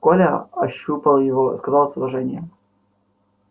коля ощупал его сказал с уважением